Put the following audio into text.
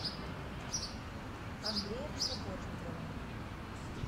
андреем сапожниковым